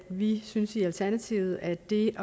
vi synes i alternativet at det